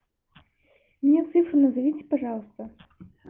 мне цифры назовите пожалуйста